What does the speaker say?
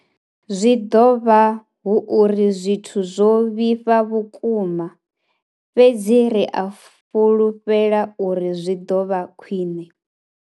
Zwi ḓo vha hu uri zwithu zwo vhifha vhukuma, fhedzi ri a fhulufhela uri zwi ḓo vha khwiṋe.